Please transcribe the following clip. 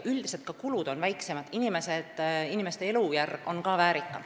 Üldiselt on sel juhul ka kulud väiksemad ja ka inimeste elujärg väärikam.